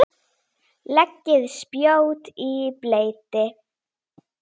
Það voru góð ár.